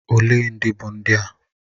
Olee ndị bụ ndị a?